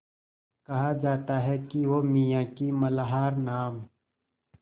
कहा जाता है कि वो मियाँ की मल्हार नाम